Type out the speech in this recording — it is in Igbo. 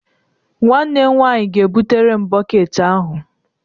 Nwanne m nwaanyị ga-ebutere m bọket ahụ.